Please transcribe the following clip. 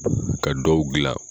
Ka dɔw gilan.